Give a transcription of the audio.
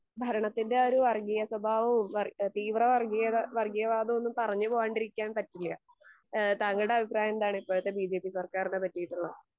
ഭരണത്തിന്റെ ഒരു വർഗീയ സ്വഭാവവും വർ അ തീവറ വർഗീയത വർഗീയവാതൊന്നും പറഞ്ഞ് പോവാണ്ടിരിക്കാൻ പറ്റില്ല. ഏഹ് താങ്കളുടെ അഭിപ്രായന്താണ് ഇപ്പോഴത്തെ ബിജെപി സർക്കാറിനെ പറ്റിയിട്ട്?